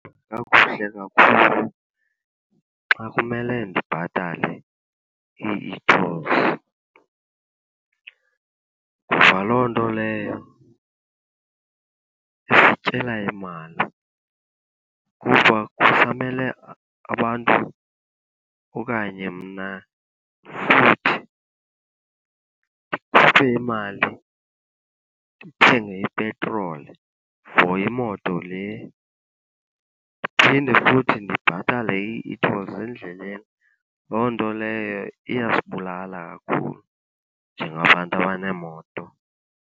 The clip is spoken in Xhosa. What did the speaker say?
kakhulu xa kumele ndibhatale ii-e-tolls. Ngoba loo nto leyo isityela imali kuba kufanele abantu okanye mna futhi ndikhuphe imali ndithenge ipetroli for imoto le, ndiphinde futhi ndibhatale ii-e-tolls endleleni. Loo nto leyo iyasibulala kakhulu njengabantu abaneemoto.